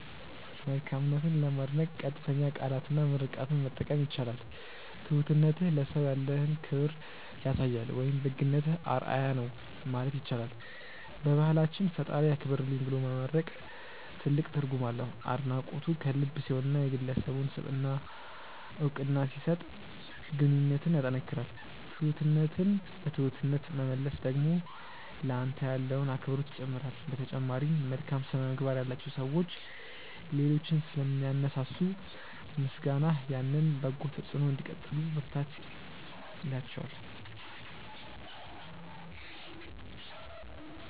መልካምነትን ለማድነቅ ቀጥተኛ ቃላትና ምርቃትን መጠቀም ይቻላል። "ትሁትነትህ ለሰው ያለህን ክብር ያሳያል" ወይም "ደግነትህ አርአያ ነው" ማለት ይቻላል። በባህላችን "ፈጣሪ ያክብርልኝ" ብሎ መመርቅ ትልቅ ትርጉም አለው። አድናቆቱ ከልብ ሲሆንና የግለሰቡን ስብዕና እውቅና ሲሰጥ ግንኙነትን ያጠናክራል። ትሁትነትን በትሁትነት መመለስ ደግሞ ለአንተ ያለውን አክብሮት ይጨምራል። በተጨማሪም፣ መልካም ስነ-ምግባር ያላቸው ሰዎች ሌሎችን ስለሚያነሳሱ፣ ምስጋናህ ያንን በጎ ተጽዕኖ እንዲቀጥሉ ብርታት ይላቸዋል።